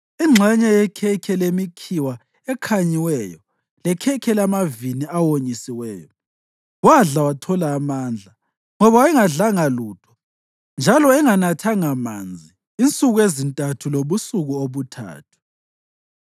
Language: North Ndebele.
ingxenye yekhekhe lemikhiwa ekhanyiweyo lekhekhe lamavini awonyisiweyo. Wadla wathola amandla, ngoba wayengadlanga lutho njalo enganathanga manzi insuku ezintathu lobusuku obuthathu.